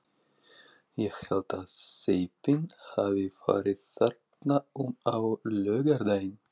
Ég held að séffinn hafi farið þarna um á laugardaginn.